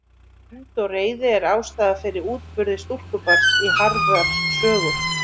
Hefnd og reiði er ástæða fyrir útburði stúlkubarns í Harðar sögu.